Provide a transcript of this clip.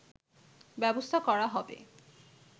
ব্যবস্থা করা হবে